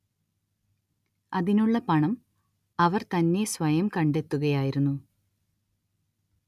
അതിനുള്ള പണം അവർ തന്നെ സ്വയം കണ്ടെത്തുകയായിരുന്നു